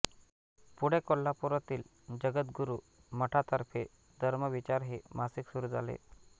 पुढे कोल्हापुरातील जगद्गुरू मठातर्फे धर्मविचार हे मासिक सुरू झाले